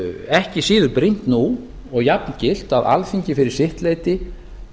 ekki síður brýnt nú og jafngilt að alþingi fyrir sitt leyti